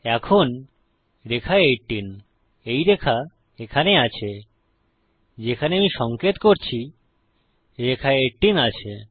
এখন রেখা 18 এই রেখা এখানে আছে যেখানে আমি সঙ্কেত করছি রেখা 18 আছে